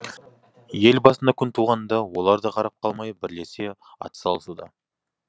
ел басына күн туғанда олар да қарап қалмай бірлесе атсалысуда